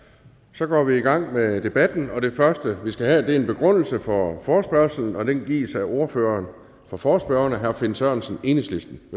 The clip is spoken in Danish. så går vi i gang med debatten og det første vi skal have er en begrundelse for forespørgslen og den gives af ordføreren for forespørgerne herre finn sørensen enhedslisten